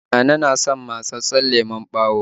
Nana na son matsatssen lemon ɓawo